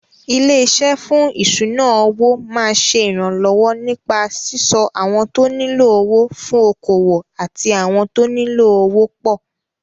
Ilé-iṣé fún ìṣúnà-owó máa ṣe ìrànlọ́wọ́ nípa síso àwọn tó nílò owó fún okòwò àti àwọn tóní owó pọ̀.